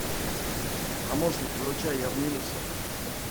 помощник выручай я в минусе